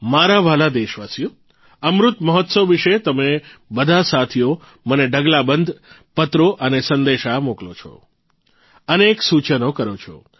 મારા વ્હાલા દેશવાસીઓ અમૃત મહોત્સવ વિશે તમે બધા સાથીઓ મને ઢગલાબંધ પત્રો અને સંદેશા મોકલો છો અનેક સૂચનો કરો છે